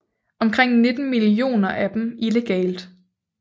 Omkring 19 millioner af dem illegalt